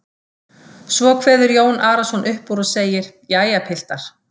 Svo kveður Jón Arason upp úr og segir:-Jæja, piltar.